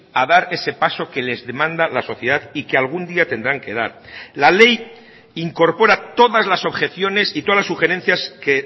a dar ese paso que les demanda la sociedad y que algún día tendrán que dar la ley incorpora todas las objeciones y todas las sugerencias que